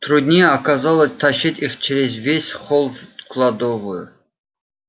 труднее оказалось тащить их через весь холл в кладовую